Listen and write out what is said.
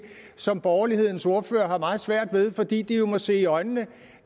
som borgerlighedens ordførere har meget svært ved fordi de jo må se i øjnene